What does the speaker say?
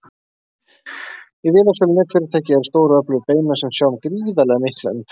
Í vélasölum netfyrirtækja eru stórir og öflugir beinar sem sjá um gríðarlega mikla umferð.